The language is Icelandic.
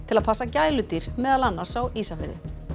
að passa gæludýr meðal annars á Ísafirði